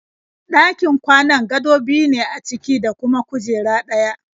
Ɗakin kwanan gado biyu ne a ciki da kuma kujera ɗaya.